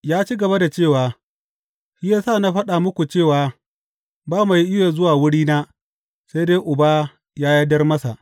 Ya ci gaba da cewa, Shi ya sa na faɗa muku cewa ba mai iya zuwa wurina, sai dai Uba ya yardar masa.